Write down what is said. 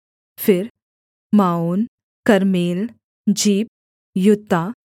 फिर Maon Carmel Ziph Juttah